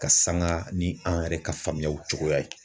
Ka sanga ni an yɛrɛ ka faamuyaliw cogoya ye